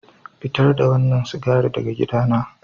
Fitar da wannan sigari daga gidana.